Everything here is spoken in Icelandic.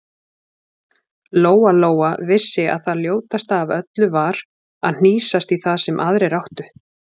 Lóa-Lóa vissi að það ljótasta af öllu var að hnýsast í það sem aðrir áttu.